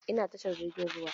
Ina tashar jirgin ruwa.